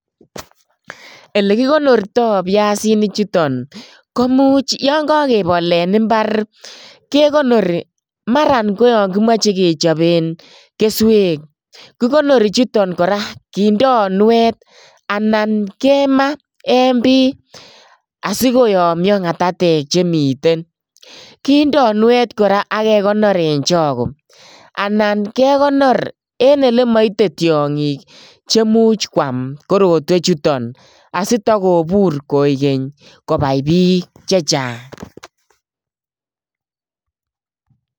Ele kikonortoi biasinichuton ko much yo kakebol en imbar, kekonori maran ko yo kimoche kechoben keswek, kikonori chuton kora kindoi nuet anan kema en biy asi koyomnyo ngatatek chemiten, kindoi unuet kora ak kekonor en chago anan kekonor en ele maite tiongik che much kwam korotwechuton asitakobur koek keny kobai piik che chang.